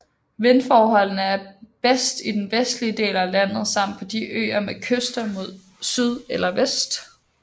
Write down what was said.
Vindforholdene er bedst i den vestlige del af landet samt på de øer med kyster mod syd eller vest